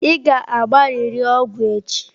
Ị ga-agbarịrị ọgwụ echi.